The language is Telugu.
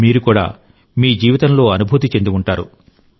మీరు కూడా మీ జీవితంలో అనుభూతి చెంది ఉంటారు